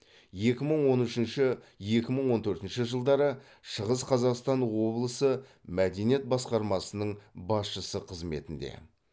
екі мың он үшінші екі мың он төртінші жылдары шығыс қазақстан облысы мәдениет басқармасының басшысы қызметінде